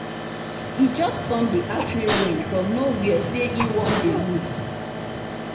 e just come the archery range from no where say e wan dey look